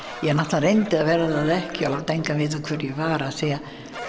ég náttúrulega reyndi að vera það ekki og láta engan vita hver ég var af því